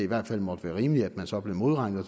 hvert fald måtte være rimeligt at man så blev modregnet og